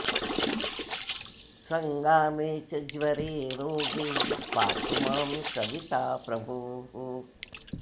सङ्गामे च ज्वरे रोगे पातु मां सविता प्रभुः